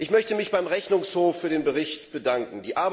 Ich möchte mich beim Rechnungshof für den Bericht bedanken.